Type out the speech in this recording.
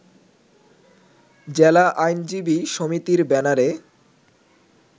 জেলা আইনজীবী সমিতির ব্যানারে